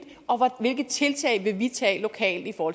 og hvilke tiltag vil vi tage lokalt for